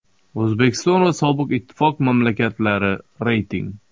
O‘zbekiston va sobiq ittifoq mamlakatlari (reyting).